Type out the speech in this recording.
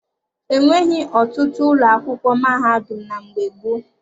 E nweghị ọtụtụ ụlọ akwụkwọ mahadum na mgbe gboo.